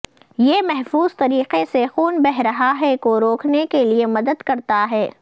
یہ محفوظ طریقے سے خون بہہ رہا ہے کو روکنے کے لئے مدد کرتا ہے